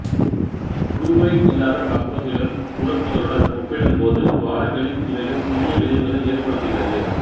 fluoride இல்லாத பற்பசையுடன் துலக்குதலுடன் ஒப்பிடும் போது துவாரங்களில் இவைகள் சிறிய விளைவுகளை ஏற்படுத்துகிறது